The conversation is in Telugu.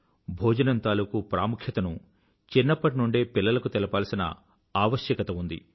భోజనం తాలుకూ ప్రాముఖ్యతను చిన్నప్పటి నుండే పిల్లలకు తెలపాల్సిన ఆవస్యకత ఉంది